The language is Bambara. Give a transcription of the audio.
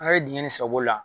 A' ye diŋɛ nin sago la